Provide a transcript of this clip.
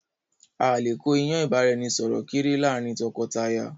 Áà lè kó ìyàn ìbáraẹnisọọ̀rọ̀ kéré láàrin tọkọtaya